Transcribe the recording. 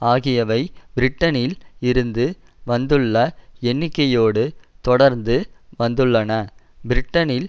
ஆகியவை பிரிட்டனில் இருந்து வந்துள்ள எண்ணிக்கையோடு தொடர்ந்து வந்துள்ளன பிரிட்டனில்